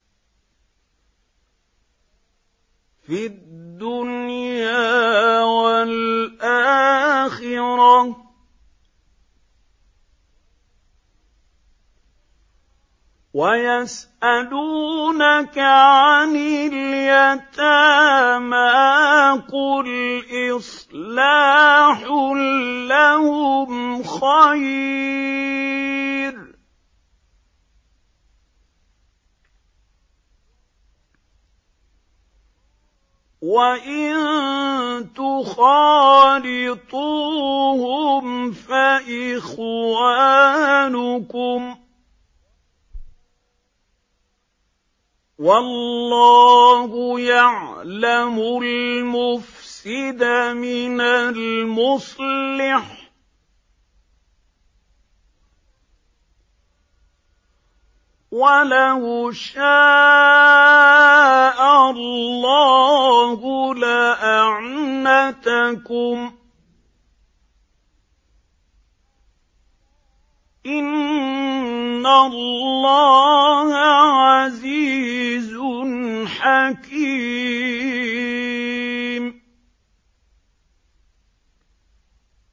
فِي الدُّنْيَا وَالْآخِرَةِ ۗ وَيَسْأَلُونَكَ عَنِ الْيَتَامَىٰ ۖ قُلْ إِصْلَاحٌ لَّهُمْ خَيْرٌ ۖ وَإِن تُخَالِطُوهُمْ فَإِخْوَانُكُمْ ۚ وَاللَّهُ يَعْلَمُ الْمُفْسِدَ مِنَ الْمُصْلِحِ ۚ وَلَوْ شَاءَ اللَّهُ لَأَعْنَتَكُمْ ۚ إِنَّ اللَّهَ عَزِيزٌ حَكِيمٌ